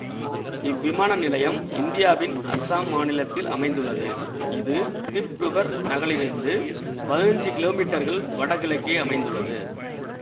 இவ்விமான நிலையம் இந்தியாவின் அசாம் மாநிலத்தில் அமைந்துள்ளது இது திப்ருகர் நகலிருந்து பதினஞ்சு கிலோமீட்டர்கள் வடகிழக்கே அமைந்துள்ளது